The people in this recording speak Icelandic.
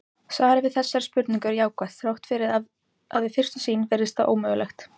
Svarið við þessari spurningu er jákvætt þrátt fyrir að við fyrstu sýn virðist það ómögulegt.